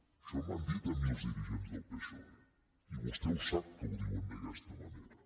això m’han dit a mi els dirigents del psoe i vostè ho sap que ho diuen d’aquesta manera